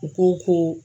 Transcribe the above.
U ko ko